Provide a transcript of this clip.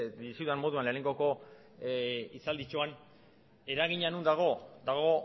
dizudan moduan lehenengo hitzalditxoan eragina non dago dago